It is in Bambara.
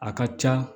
A ka ca